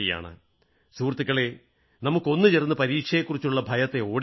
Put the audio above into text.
സുഹൃത്തുക്കളേ നമുക്ക് ഒന്നുചേർന്ന് പരീക്ഷയെക്കുറിച്ചുള്ള ഭയത്തെ ഓടിക്കണം